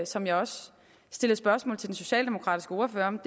som jeg også stillede spørgsmål til den socialdemokratiske ordfører om